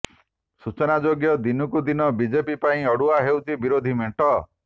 ସୂଚନାଯୋଗ୍ୟ ଦିନକୁ ଦିନ ବିଜେପି ପାଇଁ ଅଡୁଆ ହେଉଛି ବିରୋଧୀଙ୍କ ମେଣ୍ଟ